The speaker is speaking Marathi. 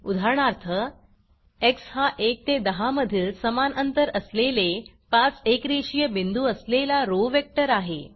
उदाहरणार्थ एक्स हा 1 ते 10 मधील समान अंतर असलेले 5 एकरेषीय बिंदू असलेला रो वेक्टर आहे